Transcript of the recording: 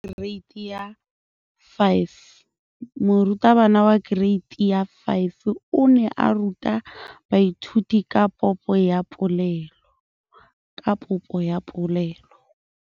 Moratabana wa kereiti ya 5 o ne a ruta baithuti ka popô ya polelô.